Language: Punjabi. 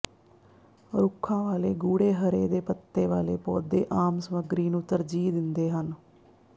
ਰੁੱਖਾਂ ਵਾਲੇ ਗੂੜ੍ਹੇ ਹਰੇ ਦੇ ਪੱਤੇ ਵਾਲੇ ਪੌਦੇ ਆਮ ਸਮੱਗਰੀ ਨੂੰ ਤਰਜੀਹ ਦਿੰਦੇ ਹਨ